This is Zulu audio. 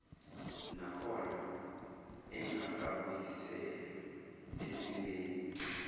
nakhona engakabuyiselwa esimeni